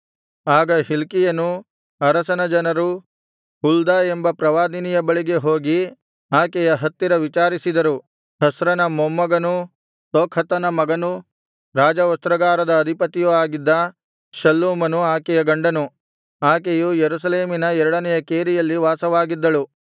ಆಗ ಹಿಲ್ಕೀಯನೂ ಅರಸನ ಜನರೂ ಹುಲ್ದ ಎಂಬ ಪ್ರವಾದಿನಿಯ ಬಳಿಗೆ ಹೋಗಿ ಆಕೆಯ ಹತ್ತಿರ ವಿಚಾರಿಸಿದರು ಹಸ್ರನ ಮೊಮ್ಮಗನೂ ತೊಕ್ಹತನ ಮಗನೂ ರಾಜವಸ್ತ್ರಾಗಾರದ ಅಧಿಪತಿಯೂ ಆಗಿದ್ದ ಶಲ್ಲೂಮನು ಆಕೆಯ ಗಂಡನು ಆಕೆಯು ಯೆರೂಸಲೇಮಿನ ಎರಡನೆಯ ಕೇರಿಯಲ್ಲಿ ವಾಸವಾಗಿದ್ದಳು